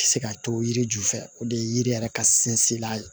Se ka to yiri ju fɛ o de ye yiri yɛrɛ ka sinsinna ye